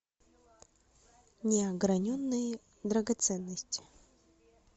неограненные драгоценности